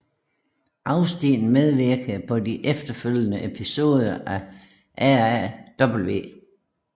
Austin medvirkede på de efterfølgende episoder af RAW